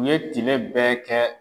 u ye tile bɛɛ kɛ.